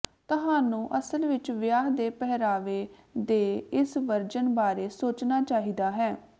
ਤੁਹਾਨੂੰ ਅਸਲ ਵਿੱਚ ਵਿਆਹ ਦੇ ਪਹਿਰਾਵੇ ਦੇ ਇਸ ਵਰਜਨ ਬਾਰੇ ਸੋਚਣਾ ਚਾਹੀਦਾ ਹੈ